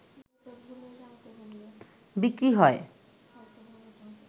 বিক্রি হয়